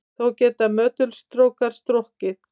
Þó geta möttulstrókar stokkið.